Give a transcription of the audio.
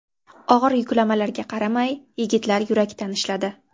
Og‘ir yuklamalarga qaramay, yigitlar yurakdan ishladi.